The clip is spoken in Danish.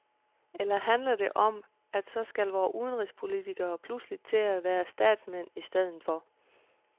Eller handler det mere om, at så skal vore udenrigspolitikere pludselig til at være statsmænd i stedet for.